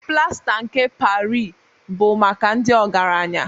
Plasta nke Parị bụ maka ndị ọgaranya